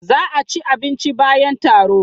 Za a ci abinci bayan taro.